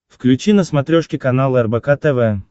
включи на смотрешке канал рбк тв